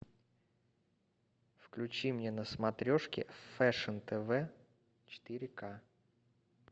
включи мне на смотрешке фэшн тв четыре к